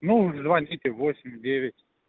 ну звоните восемь девять